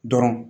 Dɔrɔn